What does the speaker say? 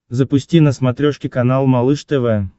запусти на смотрешке канал малыш тв